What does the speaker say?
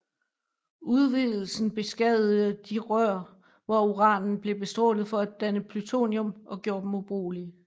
Udvidelsen beskadigede de rør hvor uranen blev bestrålet for at danne plutonium og gjorde dem ubrugelige